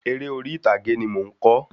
Eré orí ìtàgé ni mo n kọ